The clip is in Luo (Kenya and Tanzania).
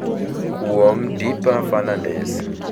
Kuom: Deepa Ferndandes